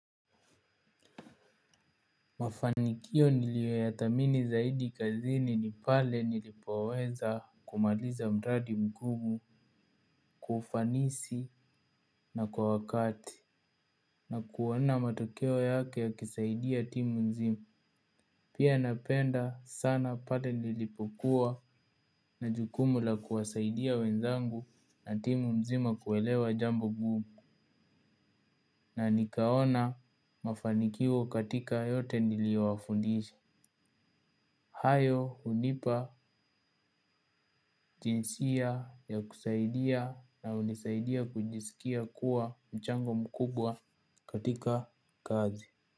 Mafanikio niliyoyadhamini zaidi kazini ni pale nilipoweza kumaliza mradi mgumu kwa ufanisi na kwa wakati. Na kuona matokeo yake yakisaidia timu nzima. Pia napenda sana pale nilipokuwa na jukumu la kuwasaidia wenzangu na timu nzima kuelewa jambo ngumu. Na nikaona mafanikio katika yote niliyo wafundisha. Hayo hunipa jinsia ya kusaidia na hunisaidia kujisikia kuwa mchango mkubwa katika kazi.